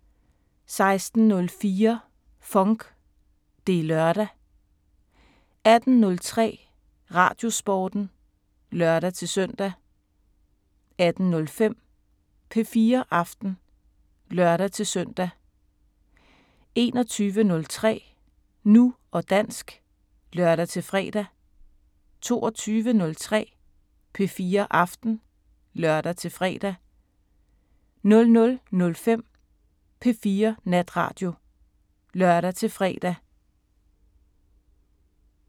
16:04: FONK! Det er lørdag 18:03: Radiosporten (lør-søn) 18:05: P4 Aften (lør-søn) 21:03: Nu og dansk (lør-fre) 22:03: P4 Aften (lør-fre) 00:05: P4 Natradio (lør-fre)